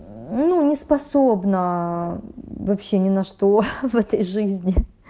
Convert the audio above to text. ну не способна вообще ни на что в этой жизни